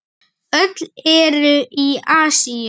Öll eru í Asíu.